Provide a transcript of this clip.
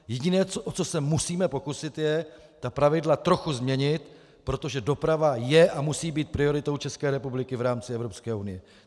Jediné, o co se musíme pokusit, je ta pravidla trochu změnit, protože doprava je a musí být prioritou České republiky v rámci Evropské unie.